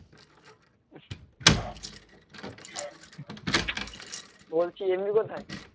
বলছি MB কোথায়?